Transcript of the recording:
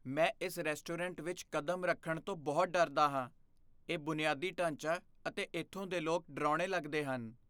ਮੈਂ ਇਸ ਰੈਸਟੋਰੈਂਟ ਵਿੱਚ ਕਦਮ ਰੱਖਣ ਤੋਂ ਬਹੁਤ ਡਰਦਾ ਹਾਂ। ਇਹ ਬੁਨਿਆਦੀ ਢਾਂਚਾ ਅਤੇ ਇੱਥੋਂ ਦੇ ਲੋਕ ਡਰਾਉਣੇ ਲੱਗਦੇ ਹਨ।